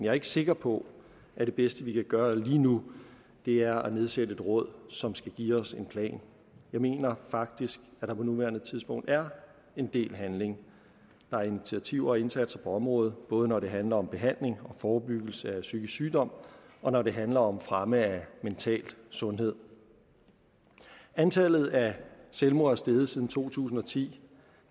er ikke sikker på at det bedste vi kan gøre lige nu er at nedsætte et råd som skal give os en plan jeg mener faktisk at der på nuværende tidspunkt er en del handling der er initiativer og indsatser på området både når det handler om behandling og forebyggelse af psykisk sygdom og når det handler om fremme af mental sundhed antallet af selvmord er steget siden to tusind og ti